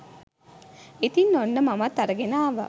ඉතින් ඔන්න මමත් අරගෙන ආවා